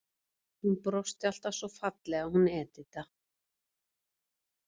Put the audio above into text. Hún brosti alltaf svo fallega, hún Edita.